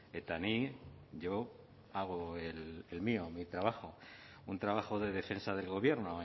eta ni yo hago el mío mi trabajo un trabajo de defensa del gobierno